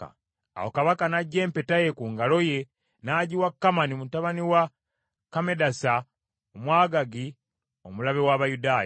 Awo kabaka n’aggya empeta ye ku ngalo ye n’agiwa Kamani mutabani wa Kammedasa Omwagaagi omulabe w’Abayudaaya.